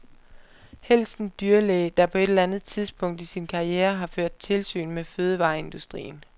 Helst en dyrlæge, der på et eller andet tidspunkt i sin karriere har ført tilsyn med fødevareindustrien.